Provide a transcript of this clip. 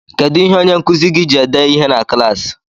Kedu ihe onyenkuzi gị ji ede ihe na klaasị?